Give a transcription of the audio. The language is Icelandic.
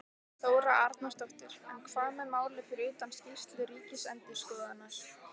Þóra Arnórsdóttir: En hvað með málið fyrir utan skýrslu ríkisendurskoðunar?